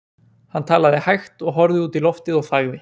Hann talaði hægt og horfði oft út í loftið og þagði.